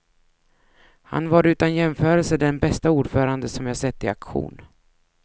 Han var utan jämförelse den bästa ordförande som jag sett i aktion.